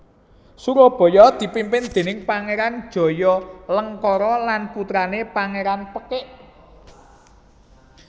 Surabaya dipimpin déning Pangéran Jayalengkara lan putrané Pangéran Pekik